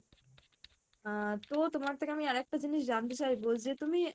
আহ তো তোমার থেকে আমি আরেকটা জিনিস জানতে চাইবো যে তুমি